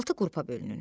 Altı qrupa bölünür.